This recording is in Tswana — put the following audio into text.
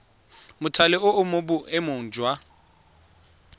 mothale o mo boemong jwa